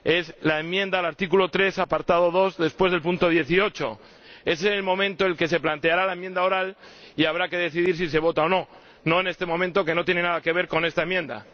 Es la enmienda al artículo 3, apartado 2, después del punto 18. Ese es el momento en el que se planteará la enmienda oral y habrá que decidir si se vota o no, no en este momento, que no tiene nada que ver con esta enmienda.